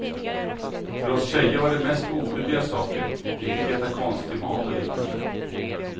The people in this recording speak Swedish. För oss tjejer var det mest oskyldiga saker, vi fick äta konstig mat och liknande.